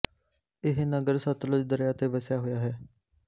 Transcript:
ਇਹ ਨਗਰ ਸਤਲੁਜ ਦਰਿਆ ਤੇ ਵਸਿਆ ਹੋਇਆ ਹੈ